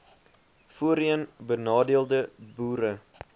voorheen benadeelde boere